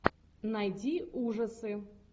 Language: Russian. найди ужасы